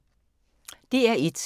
DR1